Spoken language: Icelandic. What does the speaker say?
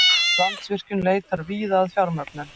Landsvirkjun leitar víða að fjármögnun